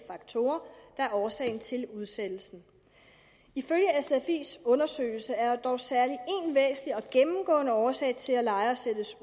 faktorer der er årsag til udsættelsen ifølge sfis undersøgelse er der dog særlig én væsentlig og gennemgående årsag til at lejere sættes